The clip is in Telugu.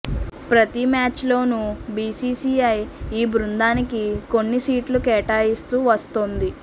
ప్రతి మ్యాచ్లోనూ బీసీసీఐ ఈ బృందానికి కొన్ని సీట్లు కేటాయిస్తూ వస్తోంది